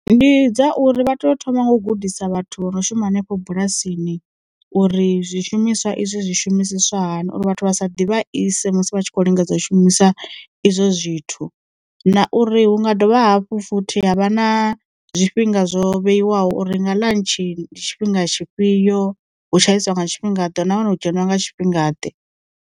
Ndi dzauri vha to thoma nga u gudisa vhathu vho no shuma henefho bulasini uri zwishumiswa izwi zwi shumisiswa hani uri vhathu vha sa ḓivha ise musi vha tshi khou lingedza u shumisa izwo zwithu, na uri hu nga dovha hafhu futhi ha vha na zwifhinga zwo vheiwaho uri nga ḽantshi ndi tshifhinga tshifhio, hu tshaisiwa nga tshifhinga ḓe, na hone hu dzheniwa nga tshifhinga ḓe.